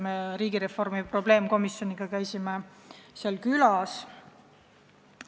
Me käisime riigireformi probleemkomisjoniga seal külas.